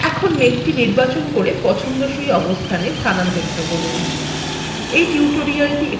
এখন মেঘটি নির্বাচন করে পছন্দসই অবস্থানে স্থানান্তরিত করুন